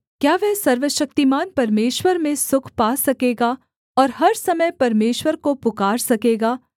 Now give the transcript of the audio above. क्या वह सर्वशक्तिमान परमेश्वर में सुख पा सकेगा और हर समय परमेश्वर को पुकार सकेगा